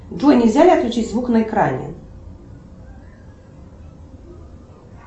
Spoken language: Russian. джой нельзя ли отключить звук на экране